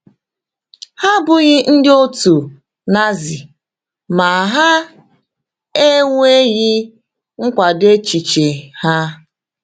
Ha abụghị ndị otu Nazi ma ha ejweghị nkwado echiche ha.